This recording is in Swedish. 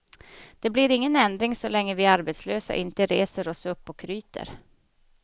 Det blir ingen ändring så länge vi arbetslösa inte reser oss upp och ryter.